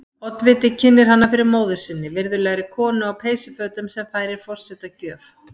Oddviti kynnir hana fyrir móður sinni, virðulegri konu á peysufötum, sem færir forseta gjöf.